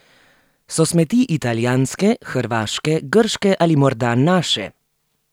So smeti italijanske, hrvaške, grške ali morda naše?